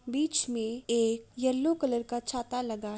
बीच में एक yellow colour का छाता लगा|--